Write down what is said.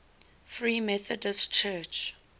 free methodist church